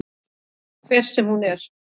Hver sem hún er.